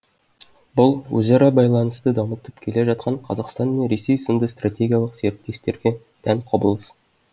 бұл өзара байланысты дамытып келе жатқан қазақстан мен ресей сынды стратегиялық серіктестерге тән құбылыс